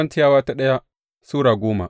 daya Korintiyawa Sura goma